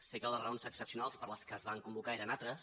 sé que les raons excepcionals per què es van convocar eren altres